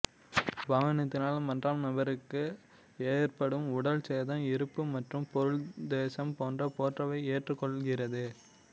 வாகனத்தினால் மன்றாம் நபருக்கு ஏற்படும் உடல் சேதம் இறப்பு மற்றும் பொருள்சேதம் போன்ற பொறுப்பை ஏற்றுக்கொள்கிறது